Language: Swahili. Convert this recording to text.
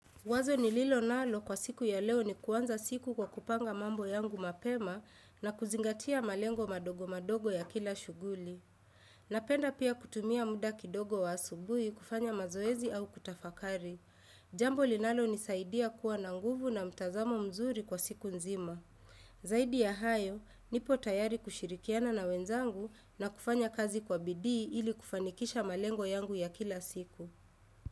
Wazo nililo nalo kwa siku ya leo ni kuanza siku kwa kupanga mambo yangu mapema na kuzingatia malengo madogo madogo ya kila shughuli. Napenda pia kutumia muda kidogo wa asubuhi kufanya mazoezi au kutafakari. Jambo linalonisaidia kuwa na nguvu na mtazamo mzuri kwa siku nzima. Zaidi ya hayo, nipo tayari kushirikiana na wenzangu na kufanya kazi kwa bidii ili kufanikisha malengo yangu ya kila siku.